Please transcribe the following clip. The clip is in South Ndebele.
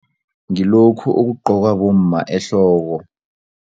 Ngilokhu okugqokwa bomma ehloko.